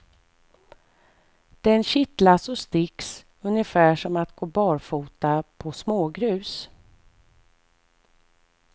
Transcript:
Den kittlas och sticks ungefär som att gå barfota på smågrus.